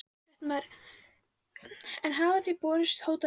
Fréttamaður: En hafa þér borist hótanir?